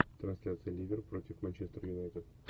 трансляция ливер против манчестер юнайтед